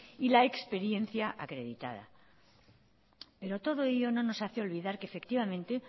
y la experiencia acreditada pero todo ello no nos hace olvidar que efectivamente